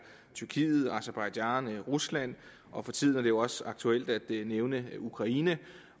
tyrkiet aserbajdsjan rusland og for tiden er det jo også aktuelt at nævne ukraine